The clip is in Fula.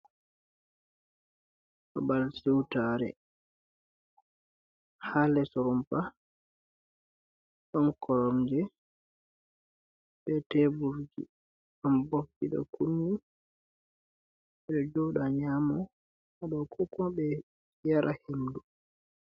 Babal siwtaare haa les rumpa, ɗon koromje be tebur, ɗon bofji ɗo kunni, ɓe ɗo jooɗa nyaama, ko kuma ɓe yara henndu.